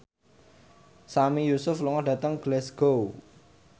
Sami Yusuf lunga dhateng Glasgow